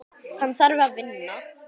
Hann þarf að vinna.